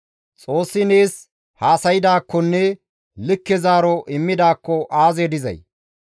Xoossi nees haasaydaakkonne likke zaaro immidaakko aazee dizay!